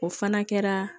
O fana kɛra